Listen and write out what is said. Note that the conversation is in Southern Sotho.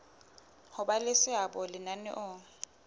ho ba le seabo lenaneong